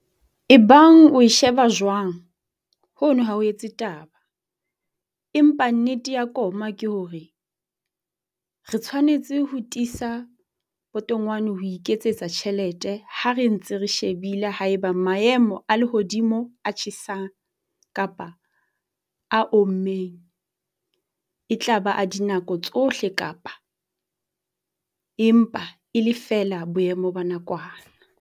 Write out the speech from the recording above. Ebang o e sheba jwang, hono ha ho etse taba, empa nnete ya koma ke hore re tshwanetse ho tiisa potongwane ho iketsetsa tjhelete ha re ntse re shebile ha eba maemo a lehodimo a tjhesang kapa a ommeng e tla ba a dinako tsohle kapa e mpa e le feela boemo ba nakwana.